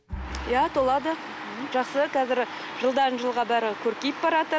иә толады жақсы қазір жылдан жылға бәрі көркейіп